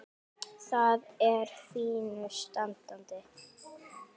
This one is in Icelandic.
Það er í fínu standi.